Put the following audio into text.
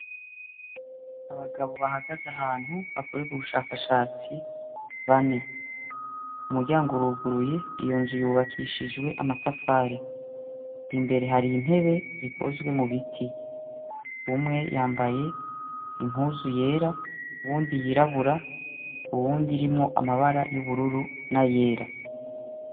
Abagabo bahagaze ahantu hakorerwa ubushakashatsi bane . Umuryango uruguruye ,iyo nzu yubakishijwe amatafari imbere hari intebe zikozwe mu biti , umwe yambaye impuzu yera uwundi yirabura, uwundi irimwo amabara y'ubururu n'ayera.